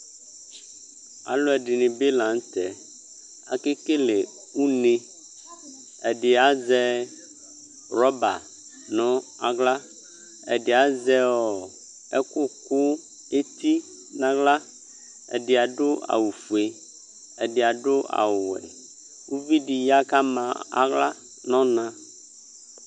aluɛdinibi lanutɛ akɛkelɛ ɔnɛ ɛdiazɛ rouba naɣla ɛdi azɛ ekuku etinaɣla ɛdi abu ayu ɔfɛ ɛdi abu awu yɛ ɔvidiya ku adu aɣla nu ɔmɛ